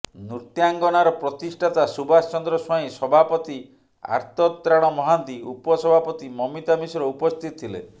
ନୃତ୍ୟାଙ୍ଗନାର ପ୍ରତିଷ୍ଠାତା ସୁବାସଚନ୍ଦ୍ର ସ୍ୱାଇଁ ସଭାପତି ଆର୍ତତ୍ରାଣ ମହାନ୍ତି ଉପସଭାପତି ମମିତା ମିଶ୍ର ଉପସ୍ଥିତ ଥିଲେ